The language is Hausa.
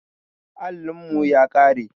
Allin mu ya ƙare